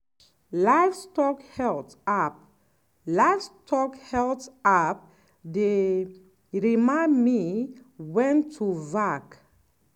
livestock health app livestock health app dey remind me when to vac